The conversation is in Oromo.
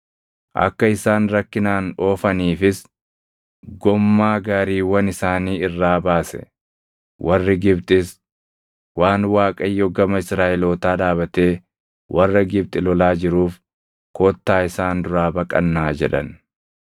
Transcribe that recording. Akka isaan rakkinaan oofaniifis gommaa gaariiwwan isaanii irraa baase. Warri Gibxis, “Waan Waaqayyo gama Israaʼelootaa dhaabatee warra Gibxi lolaa jiruuf kottaa isaan duraa baqannaa” jedhan.